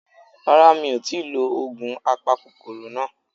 Rárá mi ò tíì lo ògùn apakòkòrò náà